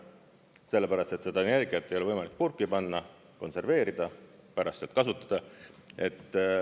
Sellepärast et seda energiat ei ole võimalik purki panna, konserveerida ja pärast kasutada.